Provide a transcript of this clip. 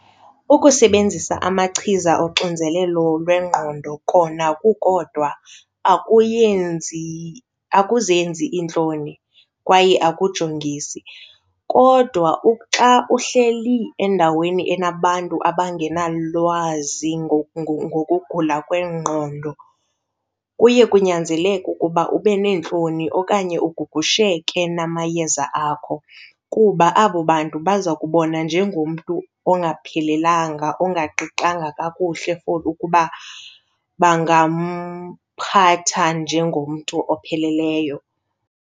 Ukusebenzisa amachiza oxinzelelo lwengqondo kona kukodwa akuyenzi akuzenzi iintloni kwaye akujongisi. Kodwa xa uhleli endaweni enabantu abangenalwazi ngokugula kwengqondo kuye kunyanzeleke ukuba ube neentloni okanye ugugusheke namayeza akho kuba abo bantu baza kubona njengomntu ongaphelelanga, ongaqinanga kakuhle for ukuba bangamphatha njengomntu opheleleyo.